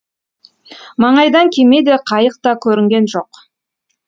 маңайдан кеме де қайық та көрінген жоқ